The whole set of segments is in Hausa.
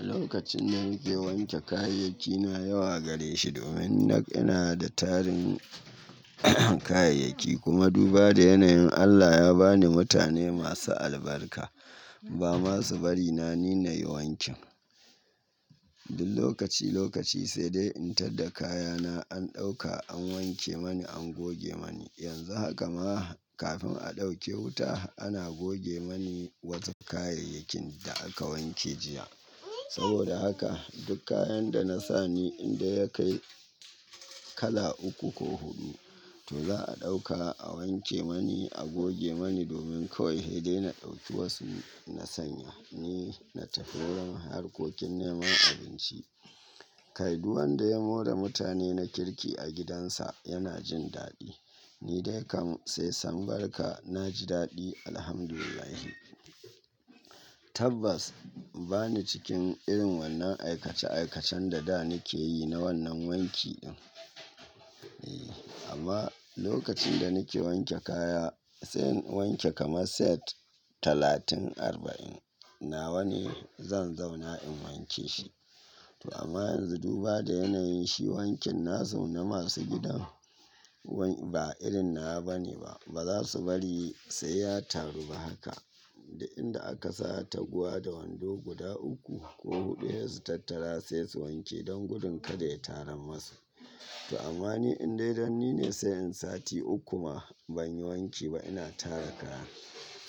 Lokacin da nake wanke kayayyakina yawa gare shi domin nak ina da tarin kayayyaki kuma duba da yanayin Allah ya ba ni mutane masu albarka ba masu bari na nina yi wankin. Duk lokaci lokaci sai dai in tar da kayana an ɗauka an wanke mani an goge mani. Yanzu haka ma kafin a ɗauke wuta ana goge mani wasu kayayakin da aka wanke jiya. Saboda haka duk kayan da na sa ni inda ya kai kala uku ko hudu to za a ɗauka a wanke mani a goge mani domin kawai hede na ɗau tuwasu na sanya ni na tafiwurin harkokin neman abinci. Kai duk wanda ya more mutane na kirki a gidansa yana jin daɗi. Ni dai kam sai san barka na ji daɗi Alhamdulillahi. Tabbas ba ni cikin irin wannan aikace aikacen da da nake yi na wannan wanki din. E, amma lokacin da nake wanke kaya sai in wanke kama set talatin arba'in nawa ne zan zauna in wanke shi. To amma yanzu duba da yanayin shi wankin na su na masu gidan wank- ba irin nawa bane ba. Ba za su bari sai ya taru ba haka. Da inda aka sa taguwa da wando guda uku ko huɗu he su tattara sai su wanke don gudun kada ya taram masu. To amma ni indai danni ne sai in sati uku ma ban yi wanki ba ina tara kaya.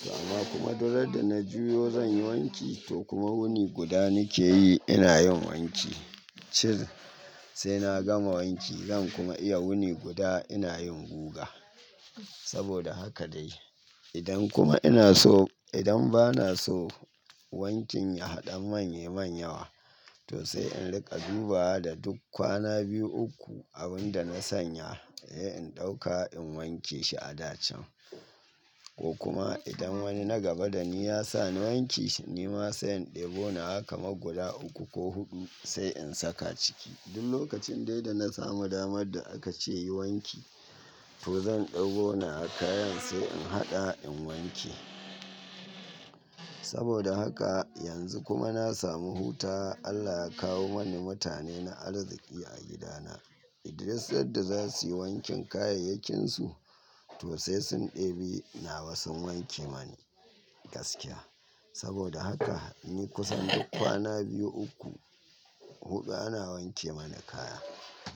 To amma kuma duk randa na juyo zan yi wanki to kuma wuni guda nake yi ina yin wanki. Shir sai na gama wanki zan kuma iya wuni guda ina yin guga. Saboda haka dai. Idan kuma ina so idan ba na so wankin ya haɗa man yi man yawa to sai in riƙa duba da duk kwana biyu uku abin da na sanya he in ɗauka in wanke shi a dacan. Ko kuma idan wani na gaba da ni ya sa ni wanke shi ni ma sai in ɗebo na haka ma guda uku ko huɗu sai in saka ciki. Duk lokacin dai da na samu damar da aka ce yi wanki to zan ɗebo nawa kayan sai in haɗa in wanke. Saboda haka yanzu kuma na samu hutawa Allah ya kawo mani mutane na arziki a gidana. Duk sanda za suyi wankin kayayyakinsu to sai sun ɗebi nawa sun wanke mani gaskiya. Saboda haka ni kusan duk kwana biyu uku huɗu ana wanke mani kaya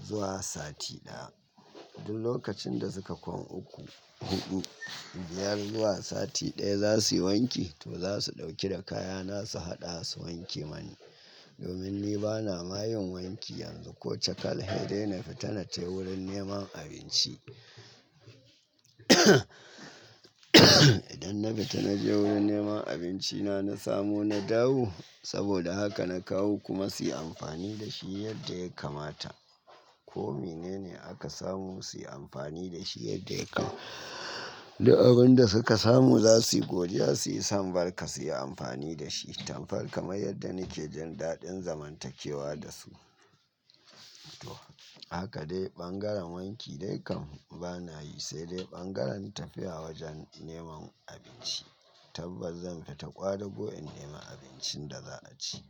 zuwa sati ɗaya. Duk lokacin da suka kwan uku huɗu biyar zuwa sati ɗaya za su yi wanki to za su ɗauki da kayana su haɗa su wanke mani. Domin ni bana ma yin wanki yanzu ko cakal hede na fita na tafi wurin neman abinci. Idan na fita na je wurin neman abinci na na samu na dawo saboda haka na kawo kuma su yi amfani da shi yadda ya kamata. Ko mene ne aka samu su yi amfani da shi yadda ya kama. Duk abin da suka samu za suyi godiya su yi son barka su yi amfani da shi. Tan farka mai yadda nake jin daɗin zamantakewa da su. Toh haka dai ɓangaren wanki dai kam ba na yi sai dai ɓangaren tafiya wajen neman abinci. Tabbas zan fita ƙwadago in nemi abincin da za a ci.